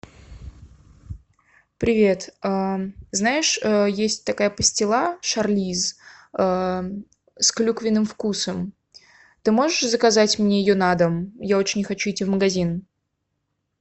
привет знаешь есть такая пастила шарлиз с клюквенным вкусом ты можешь заказать мне ее на дом я очень не хочу идти в магазин